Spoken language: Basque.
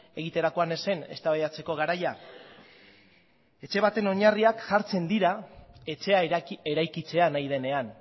egiterakoan ez zen eztabaidatzeko garaia etxe baten oinarriak jartzen dira etxea eraikitzea nahi denean